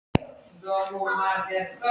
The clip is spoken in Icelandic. Jóra tók um þær með báðum sínum og þrýsti fast.